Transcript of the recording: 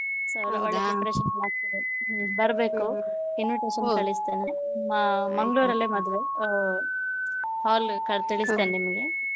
preparation ಆಗ್ತಿದೆ, ಬರ್ಬೇಕು invitation ಕಳಿಸ್ತೇನೆ ಅಹ್ ಮಂಗಳೂರಲ್ಲೇ ಮದುವೆ hall ತಿಳಿಸ್ತೇನೆ ನಿಮ್ಗೆ.